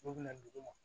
N'u bɛna dugu ma